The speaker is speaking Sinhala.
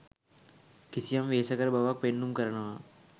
කිසියම් වෙහෙසකර බවක් පෙන්නුම් කරනවා.